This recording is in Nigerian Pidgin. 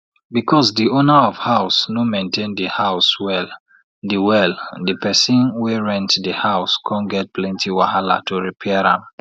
because de owner of house no maintain de house well de well de person wey rent de house come get plenty wahala to repair am